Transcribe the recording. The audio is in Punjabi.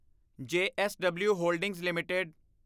JSW holdings LTD